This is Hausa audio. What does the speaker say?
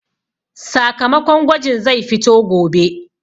Sakamakon gwajin zai fito gobe